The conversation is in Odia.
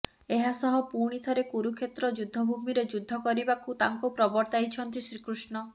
ଏହା ସହ ପୁଣିଥରେ କରୁକ୍ଷେତ୍ର ଯୁଦ୍ଧଭୂମିରେ ଯୁଦ୍ଧ କରିବାକୁ ତାଙ୍କୁ ପ୍ରବତର୍ତ୍ତାଇଛନ୍ତି ଶ୍ରୀକୃଷ୍ଣ